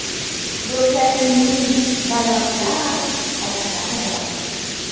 Do‘stlarimning badavlat otalari bor.